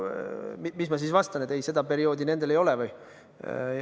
Mis ma siis vastan, et ei, seda perioodi nendel ei ole või?